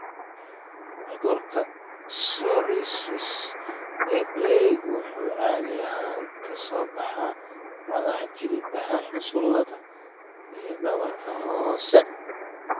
Cudurka psoriasis ee plaque wuxuu caadi ahaan ka soo baxaa madaxa, jilbaha, xusullada, iyo dhabarka hoose.